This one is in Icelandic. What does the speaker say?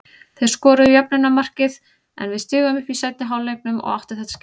Þeir skoruðu jöfnunarmarkið en við stigum upp í seinni hálfleiknum og áttu þetta skilið.